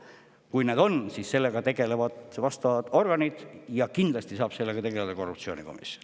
Kui neid on, siis sellega tegelevad vastavad organid ja kindlasti saab sellega tegeleda korruptsioonikomisjon.